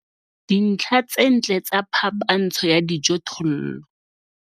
Dintlha tse ntle tsa phapantsho ya dijothollo